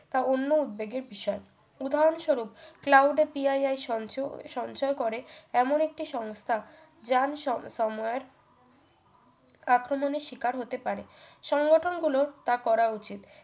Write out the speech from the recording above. বা অন্য উদ্বেগের বিষয় উদাহরণস্বরূপ cloud এ PII সঞ্চয় সঞ্চর করে এমন একটি সংস্থা যান স~ সময়ের আক্রমণের শিকার হতে পারে সংগঠনগুলোর তা করা উচিত